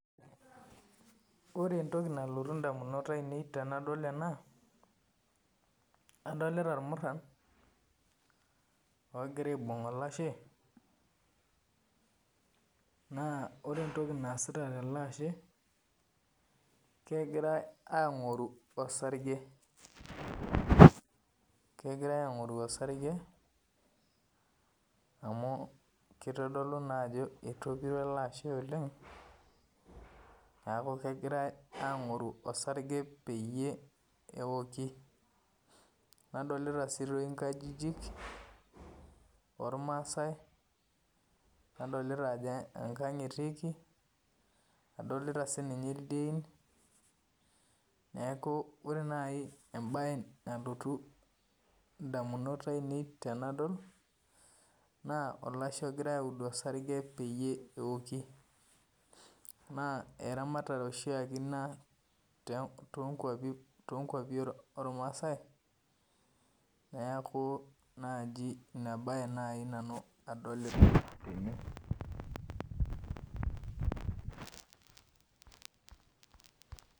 Ore entoki nalotu ndamunot ainei tanadol ena adolita irmuran ogira aibung olashe na ore entoki naasita teleashe na kegira angoru osarge amu kitodolu naa ajo etopiro oleng neaku kegirai angoru osarge peyie eoki nadolita si toi nkajijik ormasaai adolita ajo enkang etii adolita sinyeneaku ore nai embae nalotu ndamunot ainei tanadol na olashe egirai audu osarge peyie na eramatare oshiake ina tonkwapi ormaasai neakuemba nai nai nadolita tene.